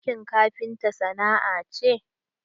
Aiki kafinta sana'a ce.